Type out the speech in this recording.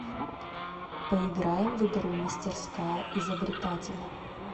поиграем в игру мастерская изобретателя